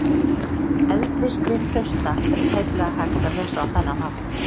Eldri skrif Trausta er tæplega hægt að lesa á þennan hátt.